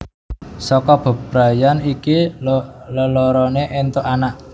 Saka bebrayan iki leloroné éntuk anak